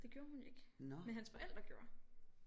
Det gjorde hun ikke men hans forældre gjorde